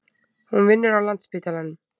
Hún vinnur á Landspítalanum.